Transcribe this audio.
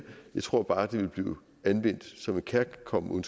jeg tror bare det vil blive anvendt som en kærkommen